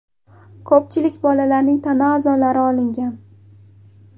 Ko‘pchilik bolalarning tana a’zolari olingan.